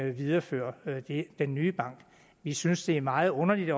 videreføre den nye bank vi synes det er meget underligt